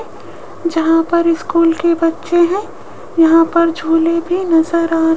जहां पर स्कूल के बच्चे हैं यहां पर झूले भी नजर आ --